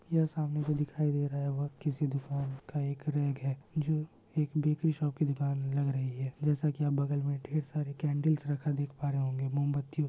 यह सामने से दिखाई दे रहा किसी दुकान का एक रेग है जो एक बेकरी सोप की दुकान लग रही है। जेसा की हम बगल में ढेर सारे केंडल्स रखा देख पा रहे होंगे मोमबत्ती--